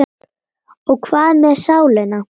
Og hvað með sálina?